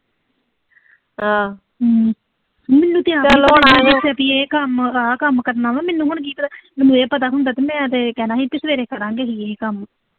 ਮੈਨੂੰ ਤਾਂ ਆਂਦੇ, ਛੇਤੀ ਇਹ ਕੰਮ, ਆਹ ਕੰਮ ਕਰਨਾ ਵਾ, ਮੈਨੂੰ ਹੁਣ ਕੀ ਪ ਅਹ ਮੈਨੂੰ ਇਹ ਪਤਾ ਹੁੰਦਾ ਤੇ ਮੈਂ ਤੇ ਇਹ ਕਹਿਣਾ ਸੀ ਕਿ ਸਵੇਰੇ ਫੜਾਂਗੇ ਜ਼ਰੂਰੀ ਕੰਮ।